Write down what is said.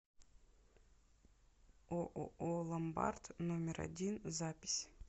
ооо ломбард номер один запись